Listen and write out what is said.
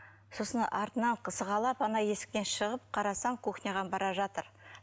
сосын артынан сығалап ана есіктен шығып қарасам кухняға бара жатыр